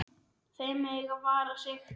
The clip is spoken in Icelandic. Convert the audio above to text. Þau mega vara sig.